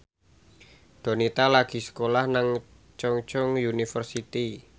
Donita lagi sekolah nang Chungceong University